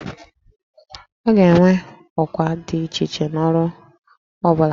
A ga-enwe ọkwa dị iche iche n'ụlọ ọrụ ọ bụla